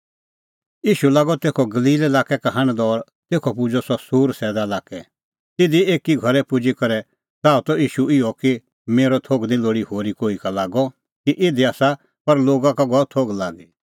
ईशू लागअ तेखअ गलील लाक्कै का हांढदअ और तेखअ पुजअ सह सूर सैदा लाक्कै तिधी एकी घरै पुजी करै च़ाहअ त ईशू इहअ कि मेरअ थोघ निं लोल़ी होरी कोही का लागअ कि इधी आसा पर लोगा का गअ थोघ लागी